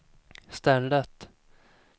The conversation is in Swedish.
stället